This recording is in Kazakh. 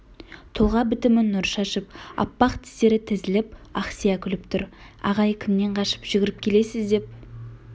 тұлға бітімі нұр шашып аппақ тістері тізіліп ақсия күліп тұр ағай кімнен қашып жүгіріп келесіз деп